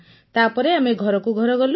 ତାପରେ ଆମେ ଘରକୁ ଘର ଗଲୁ